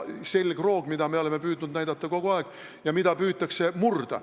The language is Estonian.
Selgroogu oleme meie püüdnud kogu aeg näidata ja seda püütakse murda.